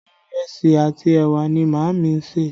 Ìrẹsì àti ẹwà ni Maami ń ṣe